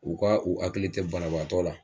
U ka u akili te banabaatɔ la